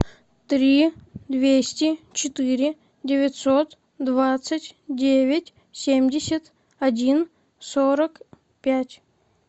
три двести четыре девятьсот двадцать девять семьдесят один сорок пять